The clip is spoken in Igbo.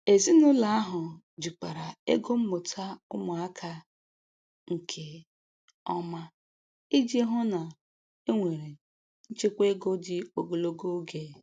Ezinụlọ ahụ jikwara ego mmụta ụmụaka nke ọma iji hụ na e nwere nchekwa ego dị ogologo oge.